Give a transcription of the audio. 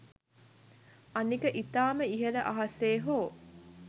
අනික ඉතාම ඉහල අහසේ හෝ